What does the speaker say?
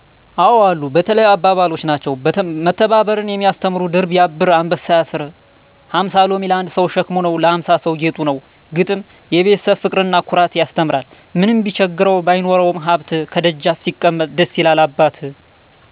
አዎ አሉ። በተለይ አባባሎች ናቸው። መተባበርን የሚያስተምሩ ድር ቢያብር አንበሣ ያስር። ሀምሣ ሎሚ ለአንድ ሠው ሸክም ነው ለሀምሣ ሠው ጌጡ ነው። ግጥም፦ የቤተሠብ ፍቅርና ኩራት ያስተምራል። ምንም ቢቸግረው ባይኖረውም ሀብት፤ ከደጃፍ ሲቀመጥ ደስ ይላል አባት።